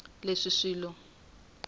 leswi swilo swi nga ta